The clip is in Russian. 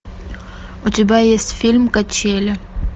у тебя есть фильм качели